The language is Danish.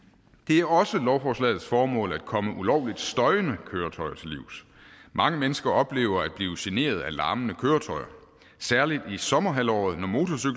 er også lovforslagets formål at komme ulovligt støjende køretøjer til livs mange mennesker oplever at blive generet af larmende køretøjer særlig i sommerhalvåret